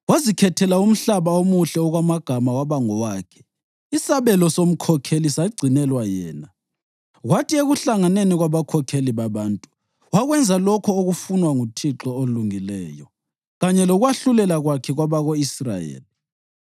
Wazikhethela umhlaba omuhle okwamagama waba ngowakhe; isabelo somkhokheli sagcinelwa yena. Kwathi ekuhlanganeni kwabakhokheli babantu, wakwenza lokho okufunwa nguThixo olungileyo, kanye lokwahlulela kwakhe kwabako-Israyeli.”